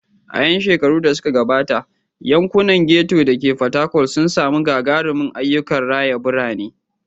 A 'yan shekarun da suka gabata, yankunan ghetto da ke Fatakwal sun sami gagarumin ayyukan raya birane.